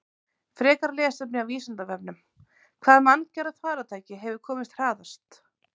Frekara lesefni af Vísindavefnum: Hvaða manngerða farartæki hefur komist hraðast?